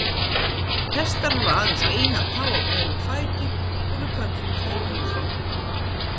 Hestar hafa aðeins eina tá á hverjum fæti og við köllum þær hófa.